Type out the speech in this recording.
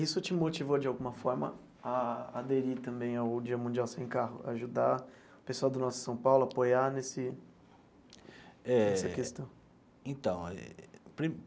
Isso te motivou de alguma forma a aderir também ao Dia Mundial Sem Carro, ajudar o pessoal do Nossa São Paulo a apoiar nesse nessa questão? Eh então.